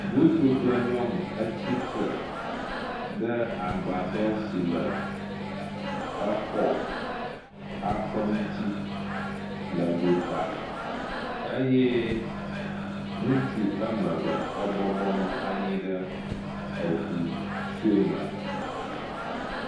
Ŋutsu kple nyɔnu etsi tre agba dɔ si le exɔ aƒe ŋu tsi le go ta eye ŋutsu woa me eve ebɔbɔ nɔ anyi ɖe suɔ me.